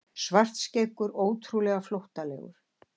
Svartskeggur ótrúlega flóttalegur.